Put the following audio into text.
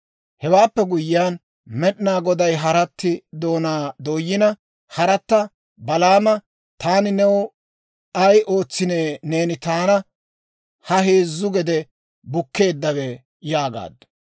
Hewaappe guyyiyaan, Med'inaa Goday harati doonaa dooyina, haratta Balaama, «Taani new ay ootsinee neeni taana ha heezzu gede bukkeeddawe?» yaagaaddu.